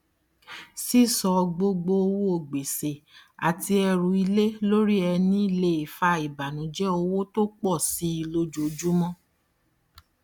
sísọ gbogbo owó gbèsè àti ẹrù ilé lórí ẹni le fà ìbànùjẹ owó tó pọ síi lójoojúmọ